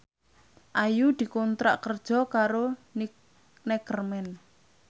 Ayu dikontrak kerja karo Neckerman